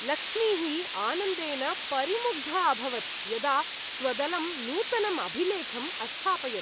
लक्ष्मीः आनन्देन परिमुग्धा अभवत्, यदा स्वदलं नूतनम् अभिलेखम् अस्थापयत्।